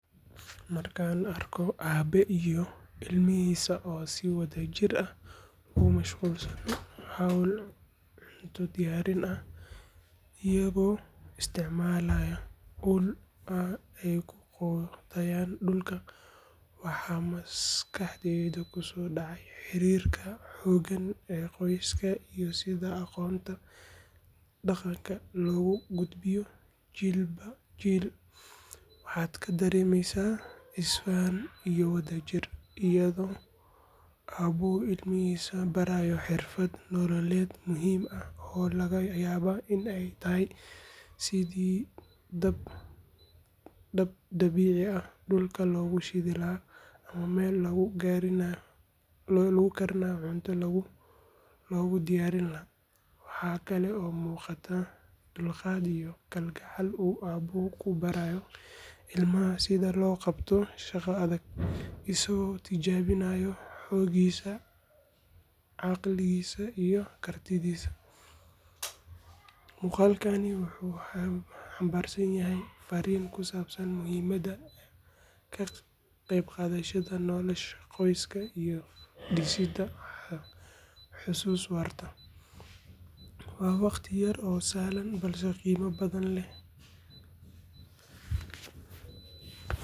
Markaan arko aabe iyo ilmihiisa oo si wadajir ah ugu mashquulsan hawl cunto diyaarin ah iyagoo isticmaalaya ul ay ku qodayaan dhulka, waxaa maskaxdayda kusoo dhacaya xiriirka xooggan ee qoyska iyo sida aqoonta dhaqanka loogu gudbiyo jiilba jiil. Waxaad ka dareemaysaa isfahan iyo wadajir, iyadoo aabuhu ilmihiisa barayo xirfad nololeed muhiim ah oo laga yaabo in ay tahay sidii dab dabiici ah dhulka loogu shidi lahaa ama meel lagu karinayo cunto loogu diyaarin lahaa. Waxa kale oo muuqata dulqaad iyo kalgacal uu aabuhu ku barayo ilmaha sida loo qabto shaqo adag, isaga oo tijaabinaya xooggiisa, caqligiisa iyo kartidiisa. Muuqaalkani wuxuu xambaarsan yahay farriin ku saabsan muhiimadda ka qaybqaadashada nolosha qoyska iyo dhisidda xusuus waarta. Waa waqti yar oo sahlan balse qiimo badan leh.